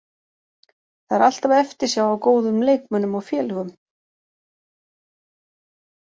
Það er alltaf eftirsjá af góðum leikmönnum og félögum.